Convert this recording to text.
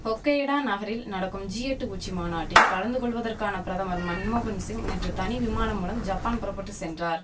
Hokkaido நகரில் நடக்கும் G எட்டு உச்சி மாநாட்டில் கலந்து கொள்வதற்கான பிரதமர் மன்மோகன் சிங் நேற்று தனி விமானம் மூலம் ஜப்பான் புறபட்டு சென்றார்